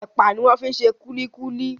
Ẹpa ni wọ́n fi ṣe kúlíkúlí.